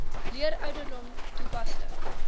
leer ouderdom toepaslik